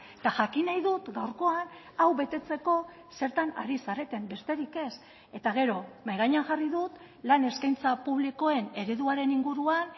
eta jakin nahi dut gaurkoan hau betetzeko zertan ari zareten besterik ez eta gero mahai gainean jarri dut lan eskaintza publikoen ereduaren inguruan